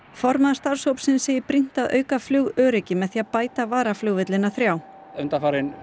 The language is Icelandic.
formaður starfshópsins segir brýnt að auka flugöryggi með því að bæta varaflugvellina þrjá undanfarin